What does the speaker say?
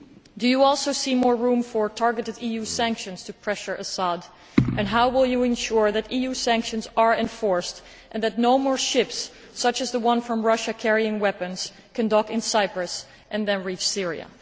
Do you also see more room for targeted EU sanctions to pressure al Assad, and how will you ensure that EU sanctions are enforced and that no more ships such as the one from Russia carrying weapons can dock in Cyprus and then reach Syria?